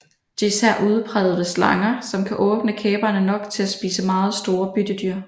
Det er især udpræget ved slanger som kan åbne kæberne nok til at spise meget store byttedyr